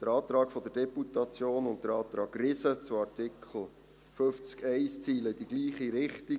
Der Antrag der Deputation und der Antrag Riesen zu Artikel 50 Absatz 1 zielen in dieselbe Richtung.